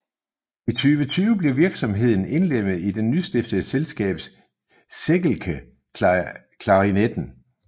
I 2020 blev virksomheden indlemmet i det nystiftede selskab Seggelke Klarinetten